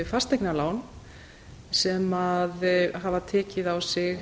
fasteignalán sem hafa tekið á sig